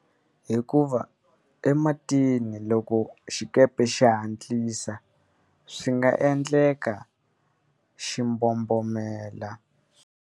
Hikuva ematini loko xikepe xi hatlisa, swi nga endleka xi mbombomela.